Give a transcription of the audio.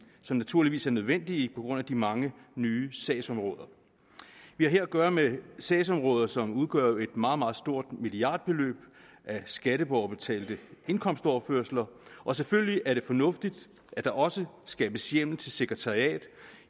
som naturligvis er nødvendige på grund af de mange nye sagsområder vi har her at gøre med sagsområder som udgør et meget meget stort milliardbeløb af skatteborgerbetalte indkomstoverførsler og selvfølgelig er det fornuftigt at der også skabes hjemmel til sekretariat